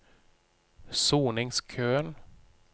soningskøen